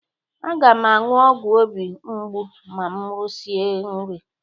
Aga m aṅụ ọgwụ obi mgbu ma m risie nri.